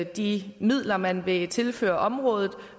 de midler man vil tilføre området